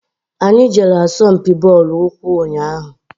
Anyị jere asọmpi bọọlụ ụkwụ ụnyaahụ.